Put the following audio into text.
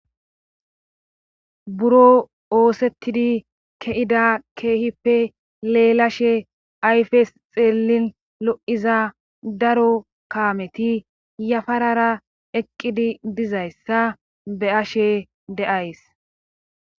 Buroo oosettidi ke7ida keehipe leelashe ayfes xeellin lo7iza daro kaameti yafarara eqqidi dizayssa be7ashe de7ays.